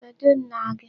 Kedụ nna gị?